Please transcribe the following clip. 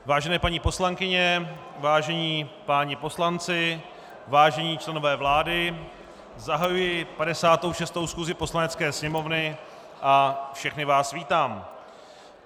Vážené paní poslankyně, vážení páni poslanci, vážení členové vlády, zahajuji 56. schůzi Poslanecké sněmovny a všechny vás vítám.